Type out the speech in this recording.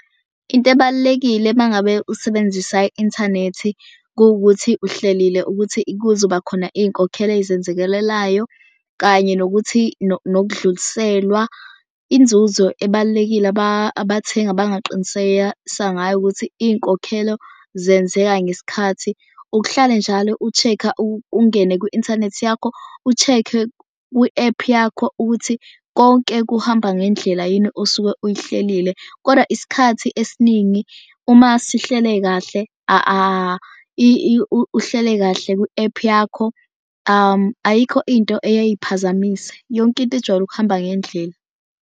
Into ebalulekile uma ngabe usebenzisa i-inthanethi kuwukuthi uhlelile ukuthi kuzoba khona iy'nkokhelo ezizenzakalayo kanye nokuthi nokudluliselwa inzuzo ebalulekile abathengi abangaqiniseya sangayo ukuthi iy'nkokhelo zenzeka ngesikhathi. Ukuhlale njalo u-check-a ungene kwi-inthanethi yakho u-check-e kwi-ephu yakho ukuthi konke kuhamba ngendlela yini osuke uyihlelile. Kodwa isikhathi esiningi uma sihlele kahle uhlele kahle kwi-ephu yakho ayikho into eyaye iphazamise. Yonke into ijwayele ukuhamba ngendlela.